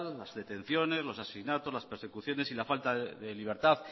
las detenciones los asesinatos las persecuciones y la falta de libertad